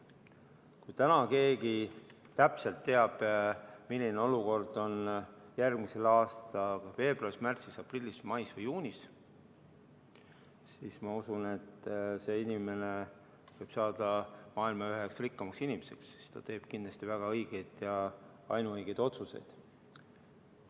Kui täna keegi täpselt teab, milline olukord on järgmise aasta veebruaris, märtsis, aprillis, mais või juunis, siis ma usun, et see inimene võib saada maailma üheks rikkamaks inimeseks, sest ta teeb kindlasti väga õigeid ja ainuõigeid otsuseid.